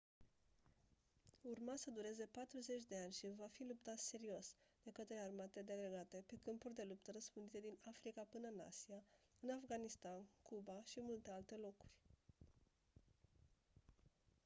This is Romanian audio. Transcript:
urma să dureze patruzeci de ani și va fi luptat serios de către armate delegate pe câmpuri de luptă răspândite din africa până-n asia în afganistan cuba și multe alte locuri